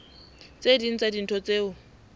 tse ding tsa dintho tseo